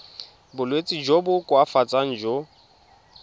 bolwetsi jo bo koafatsang jo